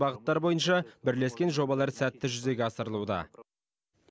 бағыттар бойынша бірлескен жобалар сәтті жүзеге асырылуда